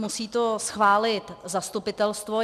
Musí to schválit zastupitelstvo.